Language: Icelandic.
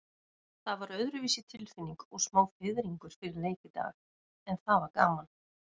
Það var öðruvísi tilfinning og smá fiðringur fyrir leik í dag, en það var gaman.